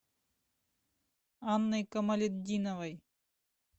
анной камалетдиновой